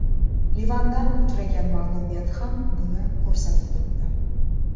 Livandan uchragan mag‘lubiyati ham buni ko‘rsatib turibdi.